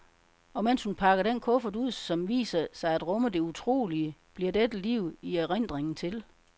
Og mens hun pakker den kuffert ud, som viser sig at rumme det utrolige, bliver dette liv i erindringen til.